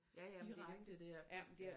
Direkte dér